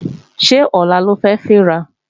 Ṣé ọ̀la lo fẹ́ fín ra?